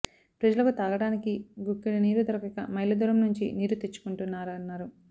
ప్రజలకు తాగడానికి గుక్కెడు నీరు దొరకక మైళ్లదూరం నుంచి నీరు తెచ్చుకుంటున్నారన్నారు